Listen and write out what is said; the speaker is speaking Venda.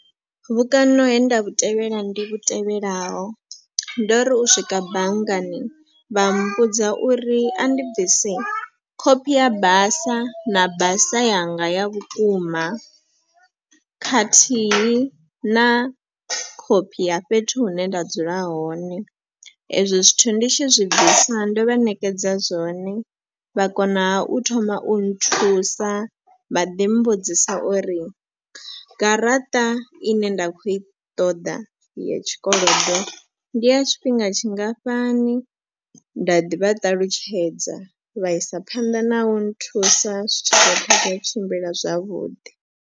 Vhukano he nda vhu tevhela ndi vhu tevhelaho ndo ri u swika banngani vha mbudza uri a ndi bvise khophi ya basa na basa yanga ya vhukuma khathihi na khophi ya fhethu hune nda dzula hone. Ezwo zwithu ndi tshi zwi bvisa ndo vha ṋekedza zwone vha kona ha u thoma u nthusa vha ḓi mbudzisa uri garaṱa i ne nda kho i ṱoḓa ya tshikolodo ndi ya tshifhinga tshingafhani. Nda ḓi vhaṱalutshedza vha isa phanḓa na u nthusa zwitshiḓa kha yo tshimbila zwavhuḓi.